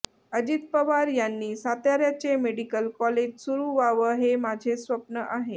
अजित पवार यांनी साताऱ्याचे medical college सुरू व्हावं हे माझे स्वप्न आहे